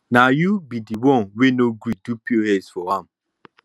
na you be the one wey no gree do pos for am